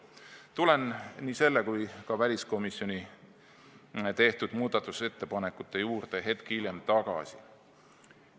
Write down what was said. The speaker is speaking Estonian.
Tulen nii selle kui ka väliskomisjoni tehtud muudatusettepanekute juurde veidi hiljem tagasi.